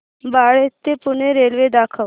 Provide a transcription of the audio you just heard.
बाळे ते पुणे रेल्वे दाखव